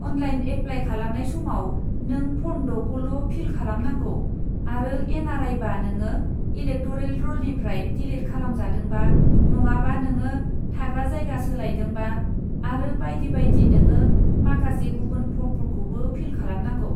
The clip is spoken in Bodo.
अनलाइन एप्लाय खालामनाय समाव, नों फर्म द'खौल' फिल खालामनांगौ आरो एन आर आइबा, नोङो इलेकट'रेल रलनिफ्राय डिलिट खालामजादोंबा, नङाबा नोङो थाग्रा जायगा सोलायदोंबा आरो बायदि बायदि, नोङो माखासे गुबुन फर्मफोरखौबो फिल खालामनांगौ।